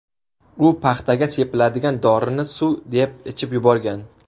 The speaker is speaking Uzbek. U paxtaga sepiladigan dorini suv deb ichib yuborgan.